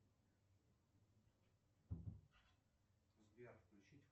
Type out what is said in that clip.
сбер включить